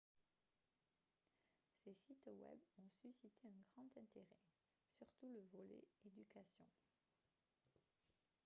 ces sites web ont suscité un grand intéret surtout le volet éducation